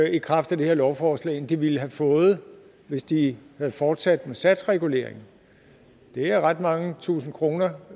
i kraft af det her lovforslag end de ville have fået hvis de havde fortsat med satsreguleringen det er ret mange tusinde kroner